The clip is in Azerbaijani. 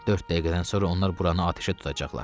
Dörd dəqiqədən sonra onlar buranı atəşə tutacaqlar.